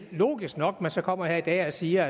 logisk nok at man så kommer her i dag og siger